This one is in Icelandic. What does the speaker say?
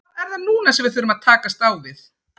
Hvað er það núna sem við þurfum að takast á við?